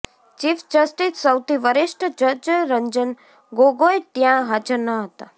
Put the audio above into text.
chief justice સૌથી વરિષ્ઠ જ્જ રંજન ગોગોઈ ત્યાં હાજર ન હતા